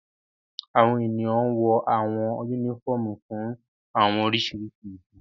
Awọn eniyan wọ awọn unifọmú fun awọn oriṣiriṣi idi